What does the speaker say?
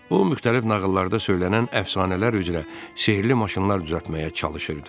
O müxtəlif nağıllarda söylənən əfsanələr üzrə sehrli maşınlar düzəltməyə çalışırdı.